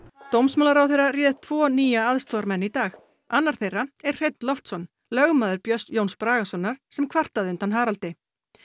dómsmálaráðherra réð tvo nýja aðstoðarmenn í dag annar þeirra er Hreinn Loftsson lögmaður Björns Jóns Bragasonar sem kvartaði undan Haraldi